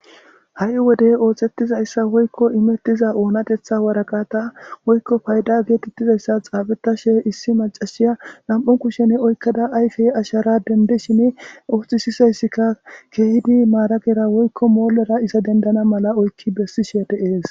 Ha'i wodey ooxettizayssa woykko imettiza oonatetha waraqata woykko payda geetettizayssa xaabetashe issi macashiya lam'o kushen oykkada ayfey ashara dende shini oohthisisayssika keehidi maaragera woykko moolera isa dendana mala oykki bessishe deees.